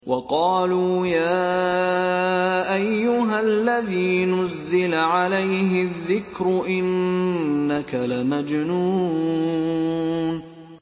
وَقَالُوا يَا أَيُّهَا الَّذِي نُزِّلَ عَلَيْهِ الذِّكْرُ إِنَّكَ لَمَجْنُونٌ